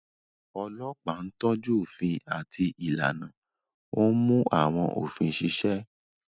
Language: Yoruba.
Ọlọ́pàá ń tọ́jú òfin àti ìlànà, ó ń mú àwọn òfin ṣiṣẹ́.